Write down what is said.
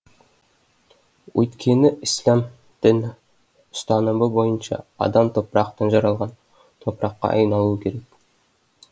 өйткені ісләм дін ұстанымы бойынша адам топырақтан жаралған топыраққа айналуы керек